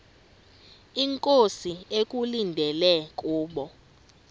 inkosi ekulindele kubo